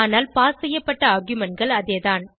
ஆனால் பாஸ் செய்யப்பட்ட argumentகள் அதேதான்